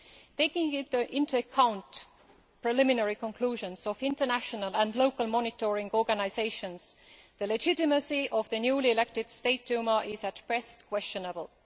Taking into account the preliminary conclusions of international and local monitoring organisations, the legitimacy of the newly elected State Duma is at best questionable.